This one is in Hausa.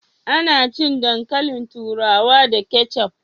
Ana cin dankalin turawa da keccuf